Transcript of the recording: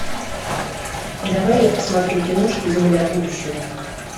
давай я посмотрю киношку земля будущего